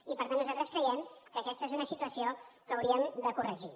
i per tant nosaltres creiem que aquesta és una situació que hauríem de corregir